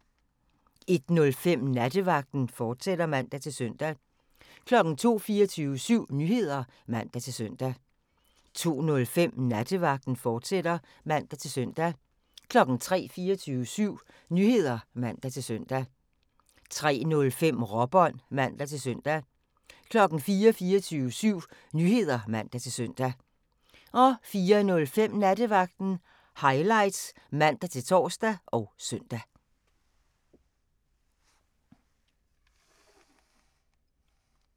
01:05: Nattevagten, fortsat (man-søn) 02:00: 24syv Nyheder (man-søn) 02:05: Nattevagten, fortsat (man-søn) 03:00: 24syv Nyheder (man-søn) 03:05: Råbånd (man-søn) 04:00: 24syv Nyheder (man-søn) 04:05: Nattevagten Highlights (man-tor og søn)